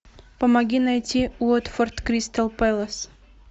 помоги найти уотфорд кристал пэлас